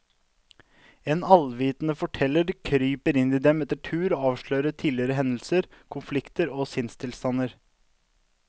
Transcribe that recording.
En allvitende forteller kryper inn i dem etter tur og avslører tidligere hendelser, konflikter og sinnstilstander.